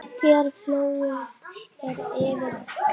Þegar flogið er yfir þær.